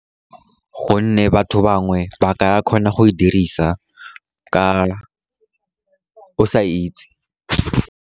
Gonne batho bangwe ba ka kgona go e dirisa o sa itse.